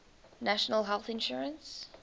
national health insurance